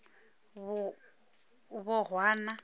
bohwana